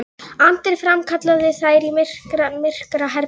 Andri framkallaði þær í myrkraherbergi skólans.